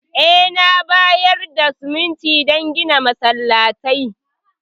Eh, na bayar da siminti don gina masallatai.